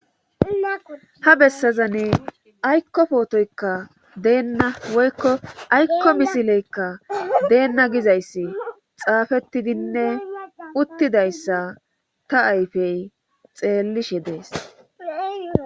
Ha bessazane aykko pootoykka deenna woykko aykko misileyka deenna gizayssi xaafetidinne uttidayssa ta ayfey xeellishe dees.